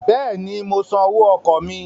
Bẹ́ẹ̀ni, mo san owó ọkọ̀ mí.